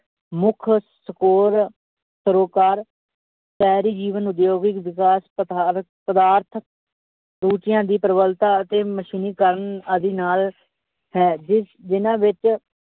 ਮੁੱਖ ਸ਼ਹਿਰੀ ਜੀਵਨ ਉਦਯੋਗਿਕ ਵਿਕਾਸ ਪਦਾਰਥ ਰੁੱਚੀਆਂ ਦੀ ਪ੍ਰਬਲਤਾ ਅਤੇ ਮਸ਼ੀਨੀਕਰਨ ਆਦਿ ਨਾਲ ਹੈ ਜਿਸ, ਜਿੰਨਾਂ ਵਿੱਚ